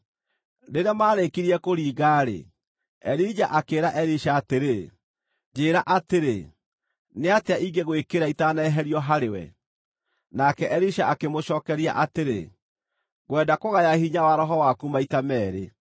Rĩrĩa maarĩkirie kũringa-rĩ, Elija akĩĩra Elisha atĩrĩ, “Njĩĩra atĩrĩ, nĩatĩa ingĩgwĩkĩra itaaneherio harĩwe?” Nake Elisha akĩmũcookeria atĩrĩ, “Ngwenda kũgaya hinya wa roho waku maita meerĩ.”